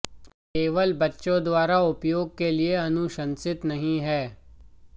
केवल बच्चों द्वारा उपयोग के लिए अनुशंसित नहीं है